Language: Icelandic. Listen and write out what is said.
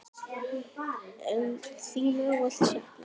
Þín verður ávallt saknað.